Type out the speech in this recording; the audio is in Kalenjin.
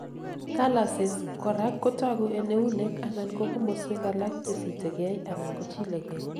calluses korak kotogu en eunek anan ko komoswek alak chesitegei anan kochilegei